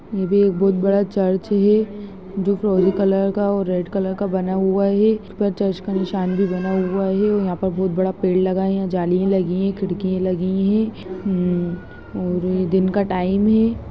बहुत बड़ा चर्च है जो फ्रोज़ी कलर का और रेड कलर का बना हुआ है जिसके ऊपर चर्च का निशान भी बना हुआ है और यहाँ पे बहुत बड़ा पेड़ लगा है जाली लगी है खिड़की लगी है और दिन का टाइम है।